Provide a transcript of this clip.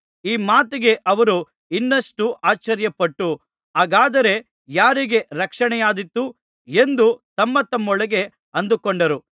ಈ ಮಾತಿಗೆ ಅವರು ಇನ್ನಷ್ಟು ಆಶ್ಚರ್ಯಪಟ್ಟು ಹಾಗಾದರೆ ಯಾರಿಗೆ ರಕ್ಷಣೆಯಾದೀತು ಎಂದು ತಮ್ಮತಮ್ಮೊಳಗೆ ಅಂದುಕೊಂಡರು